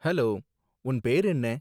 Hello, உன் பேரு என்ன?